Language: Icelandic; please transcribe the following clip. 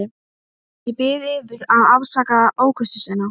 Ég bið yður að afsaka ókurteisina.